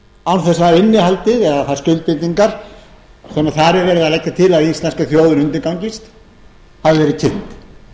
án þess að innihaldið eða þær skuldbindingar sem þar er verið að leggja til að íslenska þjóðin undirgangist hafi verið kynnt